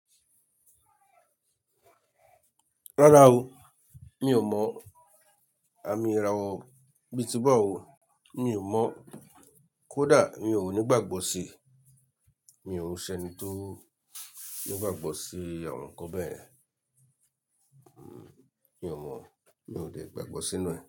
Rárá o, mi ò mọ̀, àmì ìràwọ̀ bíi tí bá o, mi ò mọ̀. Kódà mi ò ní ìgbàgbọ́ sí, mi òún ṣẹni tó ní ìgbàgbọ́ sí àwọn nǹkan bẹ́ẹ̀. Mi ò mọ̀, mi ò lè gbàgbọ́ sí inú ẹ̀.